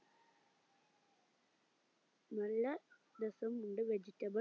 നല്ല രസമുണ്ട് vegetable